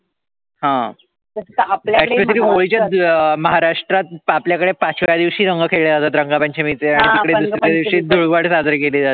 हा, actually महाराष्ट्रात आपल्या कडॆ पाचव्या दिवशी रंग खॆळल्या जातात रंगपंचमी चे आणि तिकडॆ रंगपंचमीच्या दिवशी धुळवड साजरी केली जाते